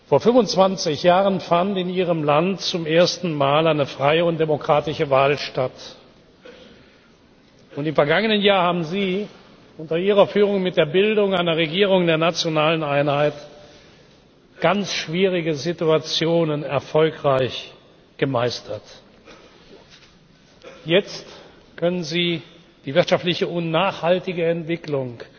Vor 25 Jahren fand in Ihrem Land zum ersten Mal eine freie und demokratische Wahl statt. Im vergangenen Jahr haben Sie unter Ihrer Führung mit der Bildung einer Regierung der nationalen Einheit ganz schwierige Situationen erfolgreich gemeistert. Jetzt können Sie die wirtschaftliche und nachhaltige Entwicklung